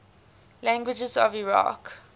languages of iraq